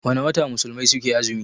Wana wata musulmai suke azumi?